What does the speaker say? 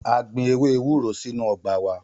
A gbin ewe ewuro sinu ọgba wa.